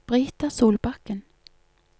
Brita Solbakken